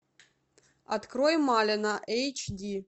открой малена эйч ди